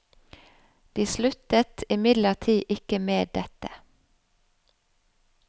De sluttet imidlertid ikke med dette.